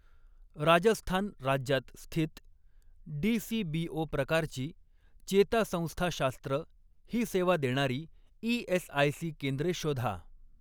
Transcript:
राजस्थान राज्यात स्थित, डीसीबीओ प्रकारची, चेतासंस्थाशास्त्र ही सेवा देणारी ई.एस.आय.सी केंद्रे शोधा.